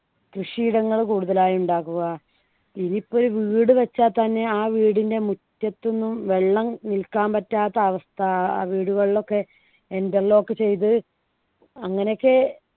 കൃഷി ഇടങ്ങള് കൂടുതലായി ഉണ്ടാക്കുക ഇതിപ്പൊരു വീട് വെച്ചാൽ തന്നെ ആ വീടിൻ്റെ മുറ്റത്തു ഒന്നും വെള്ളം നിൽക്കാൻ പറ്റാത്ത അവസ്ഥ ആ വീടുകളിലൊക്കെ interlock ചെയ്ത് അങ്ങനെയൊക്കെ